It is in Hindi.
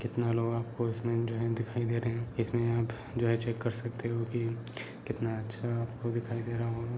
कितना लोग आपको इसमें जो है दिखाई दे रहे हैं| ये आप जो है चेक कर सकते हैं कितना अच्छा दिखाई दे रहा होगा|